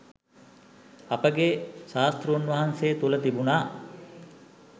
අපගේ ශාස්තෘන් වහන්සේ තුළ තිබුණා